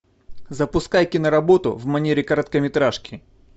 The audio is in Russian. запускай киноработу в манере короткометражки